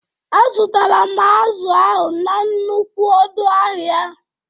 Azụtaram azụ ahụ n'nnukwu ọdụ ahia